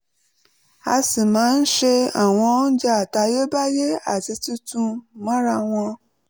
a sì máa ń se àwọn oúnjẹ àtayébáyé àti tuntun mọ́ra wọn